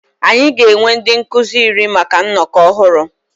Anyị ga-ewe ndị nkuzi iri maka nnọkọ ọhụrụ.